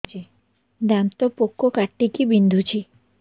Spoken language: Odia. ଦାନ୍ତ ପୋକ କାଟିକି ବିନ୍ଧୁଛି